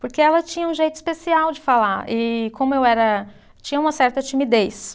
Porque ela tinha um jeito especial de falar e como eu era, tinha uma certa timidez,